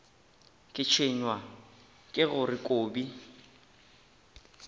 ke tshwenywa ke gore kobi